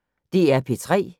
DR P3